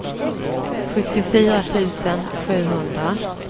sjuttiofyra tusen sjuhundra